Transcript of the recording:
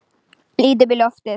Lít upp í loftið.